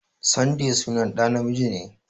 Sunday sunan ɗa namiji ne.